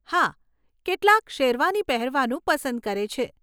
હા, કેટલાક શેરવાની પહેરવાનું પસંદ કરે છે.